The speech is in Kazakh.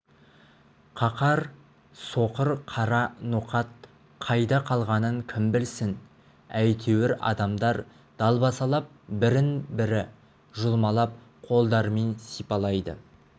қаһар соққыр қара ноқат қайда қалғанын кім білсін әйтеуір адамдар далбасалап бірін-бірі жұлмалап қолдарымен сипалайды